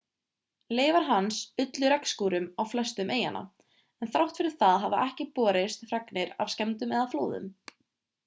leifar hans ullu regnskúrum á flestum eyjanna en þrátt fyrir það hafa ekki borist fregnir af skemmdum eða flóðum